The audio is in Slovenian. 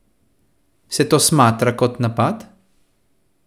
Se to smatra kot napad?